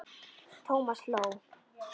Thomas hló.